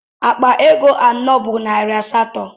Akpa ego anọ bu nari asatọ.